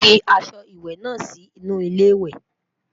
fí ọsẹ ìwé nà Si inú ilé ìwé